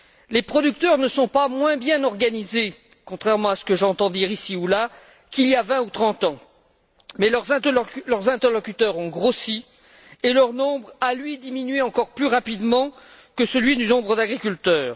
Les producteurs ne sont pas moins bien organisés, contrairement à ce que j'entends dire ici ou là, qu'il y a vingt ou trente ans, mais leurs interlocuteurs ont grossi et leur nombre a, lui, diminué encore plus rapidement que celui des agriculteurs.